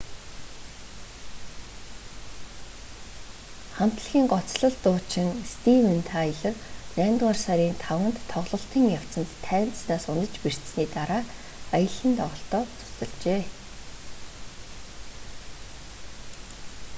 хамтлагийн гоцлол дуучин стивен тайлор наймдугаар сарын 5-нд тоглолтын явцад тайзнаас унаж бэртсэний дараа аялан тоглолтоо цуцалжээ